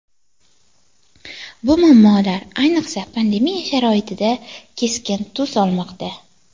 Bu muammolar ayniqsa pandemiya sharoitida keskin tus olmoqda.